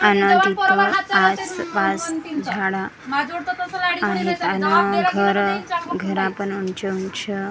आन तिथ आस पास झाड आहेत आन घर घरा पण आमच आमच--